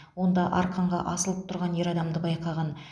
онда арқанға асылып тұрған ер адамды байқаған